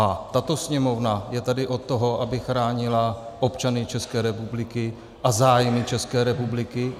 A tato Sněmovna je tady od toho, aby chránila občany České republiky a zájmy České republiky.